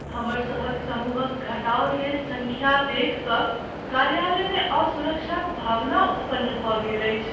हमर सभक समूहक घटाओल गेल संख्या देखि क कार्यालयमे असुरक्षाक भावना उत्पन्न भऽ गेल अछि।